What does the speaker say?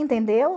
Entendeu?